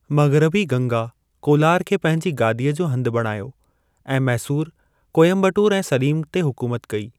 मग़रबी गंगा कोलार खे पंहिंजी गादीअ जो हंधि बणायो ऐं मैसूर, कोइम्बटोर ऐं सलीम ते हुकूमत कई।